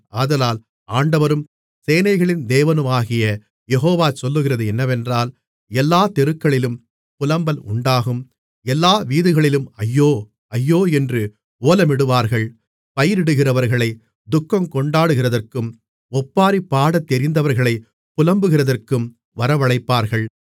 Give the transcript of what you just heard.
ஆதலால் ஆண்டவரும் சேனைகளின் தேவனுமாகிய யெகோவா சொல்லுகிறது என்னவென்றால் எல்லாத் தெருக்களிலும் புலம்பல் உண்டாகும் எல்லா வீதிகளிலும் ஐயோ ஐயோ என்று ஓலமிடுவார்கள் பயிரிடுகிறவர்களைத் துக்கங்கொண்டாடுகிறதற்கும் ஒப்பாரி பாடத்தெரிந்தவர்களைப் புலம்புகிறதற்கும் வரவழைப்பார்கள்